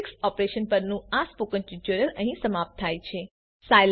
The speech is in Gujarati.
મેટ્રિક્સ ઓપરેશન પરનું આ સ્પોકન ટ્યુટોરીયલ અહીં સમાપ્ત થાય છે